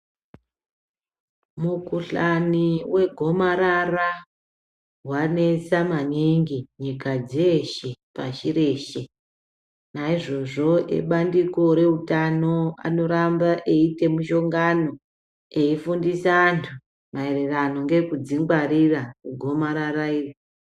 Mukhuhlani wegomarara wanesa maningi nyika dzeshe pashi reshe naizvozvo ebandiko reutano anoramba eite mushongano eifundisa antu maererano ngekudzingwarira kugonarara iri.